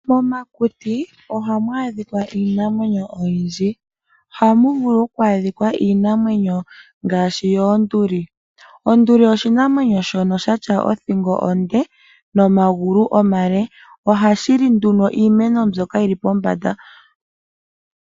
Momakuti oha mu adhika iinamwenyo oyindji oha mu vulu okwaadhikwa iinamwenyo ngaashi yoonduli. Onduli oshinamwenyo shono shi na othingo onde nomagulu omale oha shi li nduno iimeno mbyoka yili pombanda.